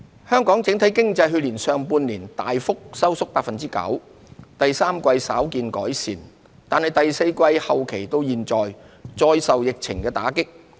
香港整體經濟去年上半年大幅收縮 9%， 第三季稍見改善，但第四季後期至今再受疫情打擊。